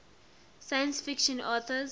science fiction authors